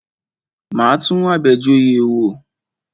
Máa tún Abejoye wò.